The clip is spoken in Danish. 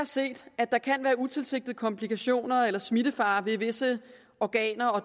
set at der kan være utilsigtede komplikationer eller smittefare ved visse organer og